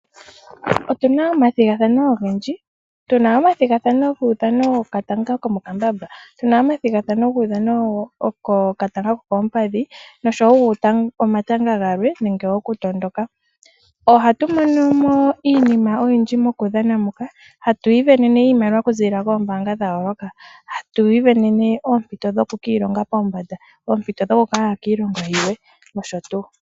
Otuna omathigathano ogendji, tuna omathigathano guudhano wetanga lyo mo kambambamba nenge uudhano wokatanga kokoompadhi, noshoo omatanga galwe, nenge oku tondondoka. Oha tumonomo iinima oyindji mokudhana muka, ha tu ivenene iimaliwa okuziilila koombanga dhayooloka, ha tu ivenene oompito dhoku ki ilongela pombanda, oompito dhokuya kiilongo yimwe, nosho tuu.